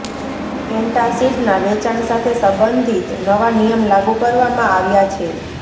એન્ટાસિડના વેચાણ સાથે સંબંધિત નવા નિયમ લાગુ કરવામાં આવ્યા છે